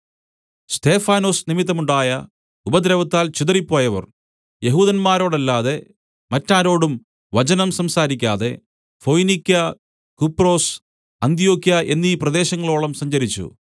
സ്തെഫാനൊസ് നിമിത്തം ഉണ്ടായ ഉപദ്രവത്താൽ ചിതറിപ്പോയവർ യെഹൂദന്മാരോടല്ലാതെ മറ്റാരോടും വചനം സംസാരിക്കാതെ ഫൊയ്നിക്യാ കുപ്രൊസ് അന്ത്യൊക്യ എന്നീ പ്രദേശങ്ങളോളം സഞ്ചരിച്ചു